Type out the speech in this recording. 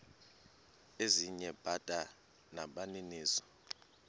ezinye bada nabaninizo